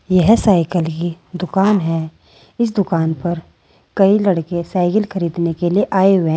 यह साइकिल की दुकान है इस दुकान पर कई लड़के साइकिल खरीदने के लिए आए हुए--